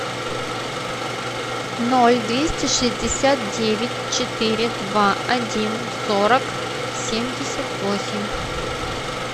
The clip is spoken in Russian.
ноль двести шестьдесят девять четыре два один сорок семьдесят восемь